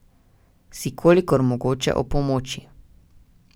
Si kolikor mogoče opomoči.